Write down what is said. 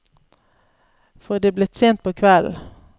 For det er blitt sent på kvelden.